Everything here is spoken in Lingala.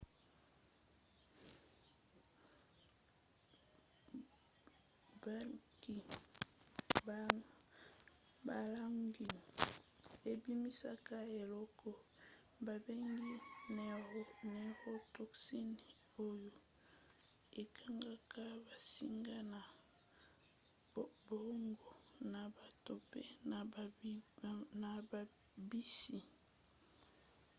baalgues ebimisaka eloko babengi neurotoxine oyo ekangaka bansinga ya boongo na bato mpe na bambisi